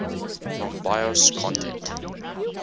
rom bios content